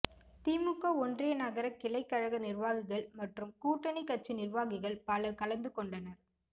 திமுக ஒன்றிய நகர கிளை கழக நிர்வாகிகள் மற்றும் கூட்டணி கட்சி நிர்வாகிகள் பலர் கலந்து கொண்டனர்